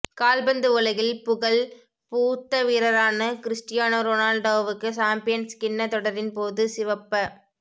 கால்பந்து உலகில் புகழ் பூத்த வீரரான கிறிஸ்டியானோ ரொனால்டோவுக்கு சம்பியன்ஸ் கிண்ண தொடரின் போது சிவப்ப